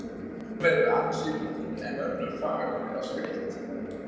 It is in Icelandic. Sum eru ansi lúin en önnur fagurlega skreytt.